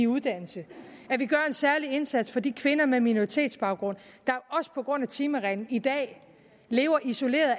uddannelse at vi gør en særlig indsats for de kvinder med minoritetsbaggrund der også på grund af timereglen i dag lever isoleret